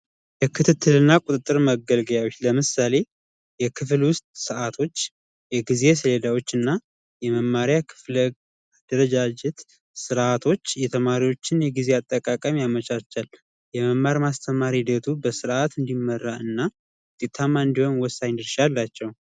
የክትትልና ቁጥጥር መገልገያዎች ለምሳሌ የክፍል ውስጥ የጊዜ ሰሌዳዎችና የመማሪያ ክፍለ ጊዜ አደረጃጀት ስርዓቶች የተማሪዎች የጊዜ አጠቃቀም ያመቻቻል። የመማር ማስተማር ሂደቱ በስርዓት እንዲመራ ወሳኝ ድርሻ አላቸው።